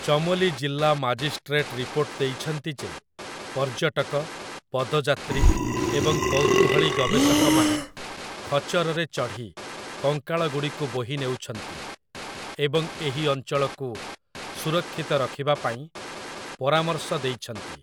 ଚମୋଲି ଜିଲ୍ଲା magistrate report ଦେଇଛନ୍ତି ଯେ ପର୍ଯ୍ୟଟକ, ପଦଯାତ୍ରୀ, ଏବଂ କୌତୂହଳୀ ଗବେଷକମାନେ ଖଚ୍ଚରରେ ଚଢ଼ି କଙ୍କାଳଗୁଡ଼ିକୁ ବୋହିନେଉଛନ୍ତି, ଏବଂ ଏହି ଅଞ୍ଚଳକୁ ସୁରକ୍ଷିତ ରଖିବା ପାଇଁ ପରାମର୍ଶ ଦେଇଛନ୍ତି ।